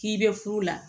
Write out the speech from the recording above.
K'i bɛ furu la